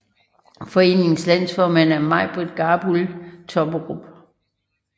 Foreningens landsformand er Majbritt Garbul Tobberup